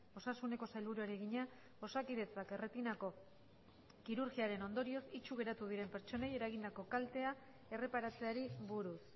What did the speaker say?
osasuneko sailburuari egina osakidetzak erretinako kirurgiaren ondorioz itsu geratu diren pertsonei eragindako kaltea erreparatzeari buruz